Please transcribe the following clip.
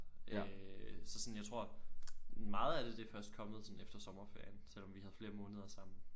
Øh så sådan jeg tror meget af det det er først kommet sådan efter sommerferien selvom vi havde flere måneder sammen